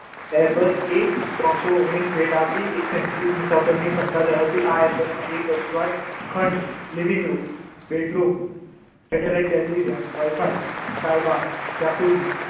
Herbert એ ત્રણસો ઓગણીશ ભેટ આપી એક સો એશી મુસાફરની સક્ષમતા ધરાવતી આ આ એરબચમાં એક living room bedroom satellite television Wifi કાયબાર